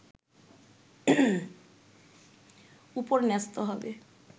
উপর ন্যস্ত হবে